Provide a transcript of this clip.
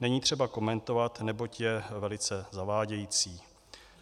není třeba komentovat, neboť je velice zavádějící.